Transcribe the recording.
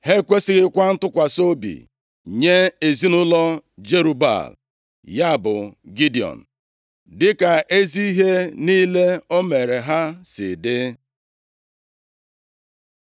Ha ekwesighịkwa ntụkwasị obi nye ezinaụlọ Jerub-Baal (ya bụ Gidiọn) dịka ezi ihe niile o mere ha si dị.